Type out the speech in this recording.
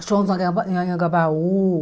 Os shows do Angaba Anhangabaú.